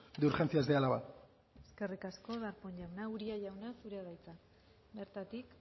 de urgencias de álava eskerrik asko darpón jauna uria jauna zurea da hitza bertatik